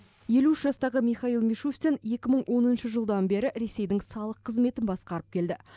елу үш жастағы михаил мишустин екі мың оныншы жылдан бері ресейдің салық қызметін басқарып келді